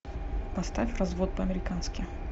поставь развод по американски